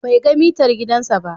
Bai ga mitar gidansa ba.